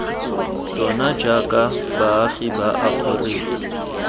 tsona jaaka baagi ba aferika